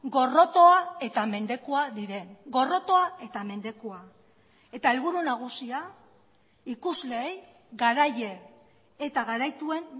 gorrotoa eta mendekua diren gorrotoa eta mendekua eta helburu nagusia ikusleei garaile eta garaituen